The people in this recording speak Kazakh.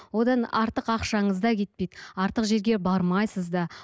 одан артық ақшаңыз да кетпейді артық жерге бармайсыз да